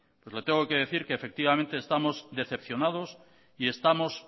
pues le tengo que decir que efectivamente estamos decepcionados y estamos